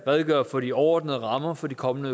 redegøre for de overordnede rammer for de kommende